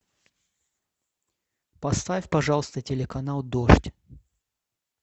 поставь пожалуйста телеканал дождь